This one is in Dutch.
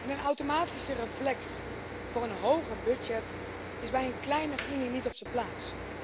Een automatische reflex voor een hoger budget is bij een kleinere Unie niet op z'n plaats.